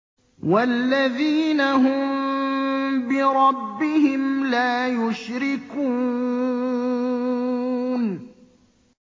وَالَّذِينَ هُم بِرَبِّهِمْ لَا يُشْرِكُونَ